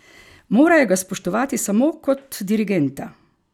Morajo ga spoštovati samo kot dirigenta!